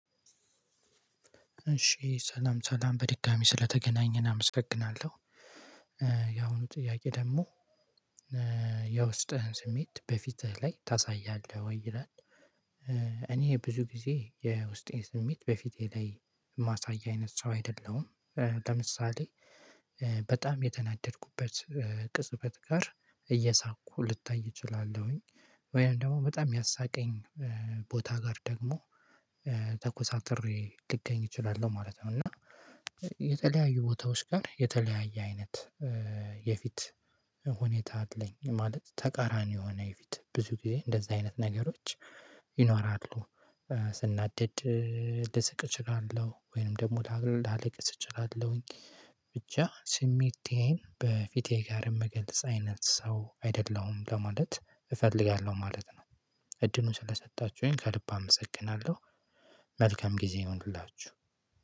እሺ ሰላም ሰላም በድጋሚ ስለተገናኘን አመሰግናለሁ ያሁኑ ጥያቄ ደግሞ? የውስጥህን ስሜት በፊትህ ላይ ታሳያለህ ወይ ይላል። እኔ ብዙ ጊዜ የውስጤን ስሜት በፊቴ ላይ የማሳይ አይነት ሰው አይደለሁም። ለምሳሌ በጣም የተናደድኩበት ቅጽበት ጋር እየሳኩ ልታይ እችላለሁኝ። ወይም ደግሞ በጣም ያሳቀኝ ቦታ ጋር ደግሞ ተኩሳትሬ ልገኝ እችላለሁ ማለት ነው። እና የተለያዩ ቦታዎች ጋር የተለያየ አይነት የፊት ሁኔታ አለኝ ማለት ተቃራኒ የሆነ የፊት ብዙ ጊዜ እንደዛ አይነት ነገሮች ይኖራሉ። ስናደድ ልስቅ እችላለሁ ወይንም ደግሞ ላል ላልቅስ እችላለሁኝ። ብቻ ስሜቴን በፊቴ ጋር የምገልጽ አይነት ሰው አይደለሁም ለማለት እፈልጋለሁ ማለት ነው። እድሉን ስለሰጣችሁኝ ከልብ አመሰግናለሁ። መልካም ጊዜ ይሁንላችሁ።